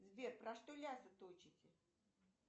сбер про что лясы точите